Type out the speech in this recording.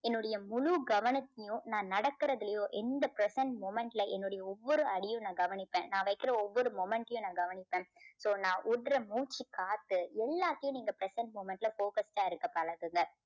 என்னுடைய முழு கவனத்தையும் நான் நடக்குறதுலையும் எந்த present moment ல என்னுடைய ஒவ்வொரு அடியும் நான் கவனிப்பேன். நான் வைக்கிற ஒவ்வொரு moment டையும் நான் கவனிப்பேன். so நான் விடுற மூச்சுக்காத்து எல்லாத்தையும் நீங்க present moment ல focused ஆ இருக்க பழகுங்க.